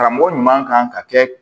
Karamɔgɔ ɲuman kan ka kɛ